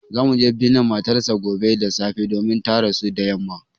Za mu je binne matar sa gobe da safe domin ta rasu da yamma